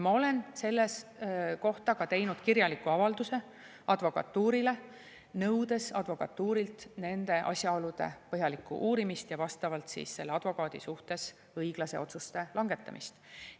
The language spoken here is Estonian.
Ma olen selle kohta teinud kirjaliku avalduse advokatuurile, nõudes advokatuurilt nende asjaolude põhjalikku uurimist ja vastavalt siis selle advokaadi suhtes õiglaste otsuste langetamist.